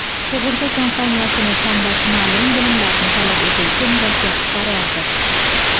Sug‘urta kompaniyasini tanlash ma’lum bilimlarni talab etuvchi murakkab qarordir.